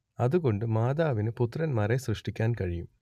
അതുകൊണ്ട് മാതാവിന് പുത്രന്മാരെ സൃഷ്ടിക്കാൻ കഴിയും